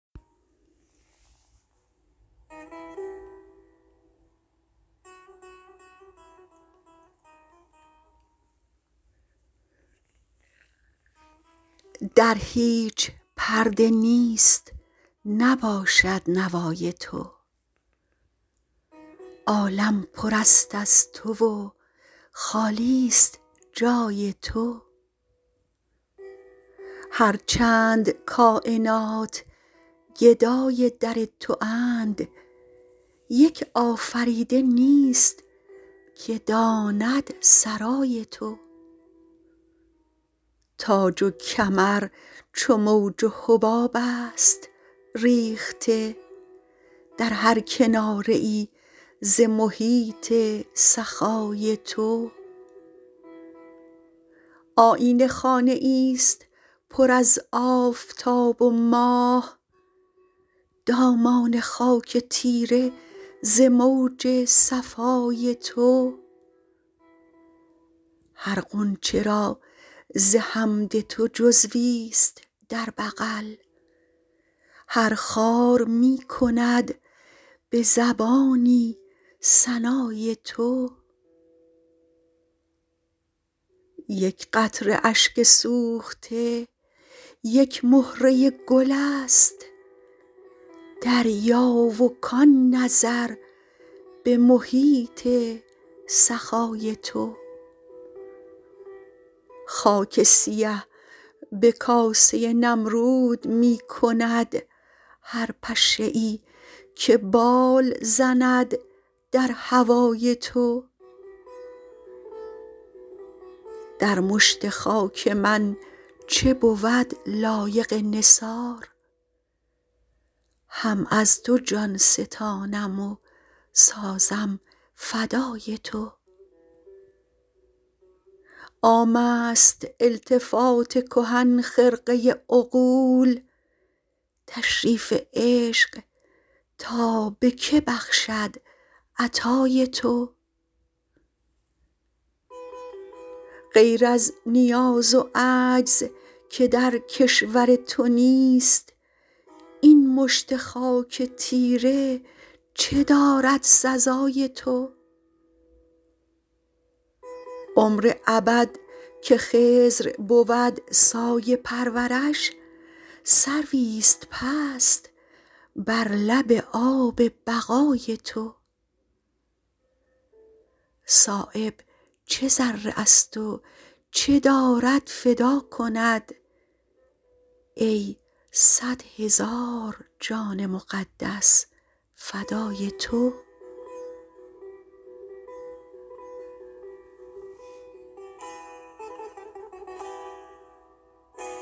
در هیچ پرده نیست نباشد نوای تو عالم پر است از تو و خالی است جای تو هر چند کاینات گدای در تو اند یک آفریده نیست که داند سرای تو تاج و کمر چو موج و حباب است ریخته در هر کناره ای ز محیط سخای تو آیینه خانه ای است پر از آفتاب و ماه دامان خاک تیره ز موج صفای تو هر غنچه را ز حمد تو جزوی است در بغل هر خار می کند به زبانی ثنای تو یک قطره اشک سوخته یک مهره گل است دریا و کان نظر به محیط سخای تو خاک سیه به کاسه نمرود می کند هر پشه ای که بال زند در هوای تو در مشت خاک من چه بود لایق نثار هم از تو جان ستانم و سازم فدای تو عام است التفات کهن خرقه عقول تشریف عشق تا به که بخشد عطای تو غیر از نیاز و عجز که در کشور تو نیست این مشت خاک تیره چه دارد سزای تو عمر ابد که خضر بود سایه پرورش سروی است پست بر لب آب بقای تو صایب چه ذره است و چه دارد فدا کند ای صد هزار جان مقدس فدای تو